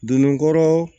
Donnen kɔrɔ